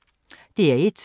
DR1